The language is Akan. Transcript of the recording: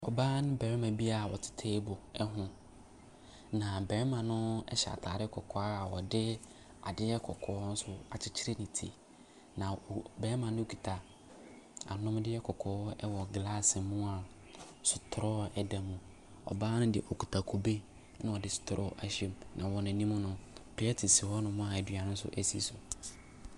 Ɔbaa ne barima bi a ɔte table ɛho. Na barima no ɛhyɛ ataade kɔkɔɔ a ɔde adeɛ kɔkɔɔ nso akyekyere ne ti. Na barima no kuta anomdeɛ kɔkɔɔ ɛwɔ glass mu a straw ɛda mu. Ɔbaa no deɛ ɔkuta kube a ɔde straw ahyɛ mu. Na wɔn anim no, plate si hɔ nom a aduane nso esi so.